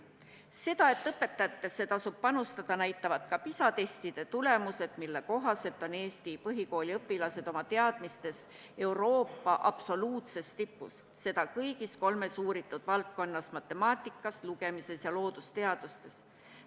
Seda, et õpetajatesse tasub panustada, näitavad ka PISA testide tulemused, mille kohaselt on Eesti põhikooliõpilased oma teadmistega Euroopa absoluutses tipus, seda kõigis kolmes uuritud valdkonnas: matemaatikas, lugemises ja loodusteadustes.